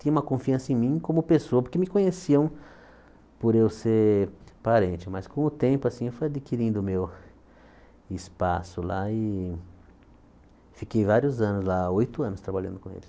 Tinha uma confiança em mim como pessoa, porque me conheciam por eu ser parente, mas com o tempo assim eu fui adquirindo meu espaço lá e fiquei vários anos lá, oito anos trabalhando com eles.